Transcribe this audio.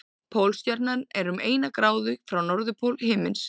Pólstjarnan er um eina gráðu frá norðurpól himins.